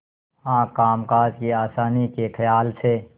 हाँ कामकाज की आसानी के खयाल से